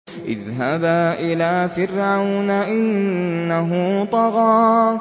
اذْهَبَا إِلَىٰ فِرْعَوْنَ إِنَّهُ طَغَىٰ